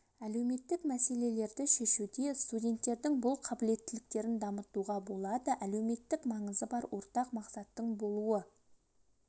әлеуметтік мәселелерді шешуде студенттердің бұл қабілеттіліктерін дамытуға болады әлеуметтік маңызы бар ортақ мақсаттың болуы